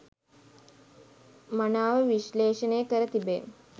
මනාව විශ්ලේෂණය කර තිබේ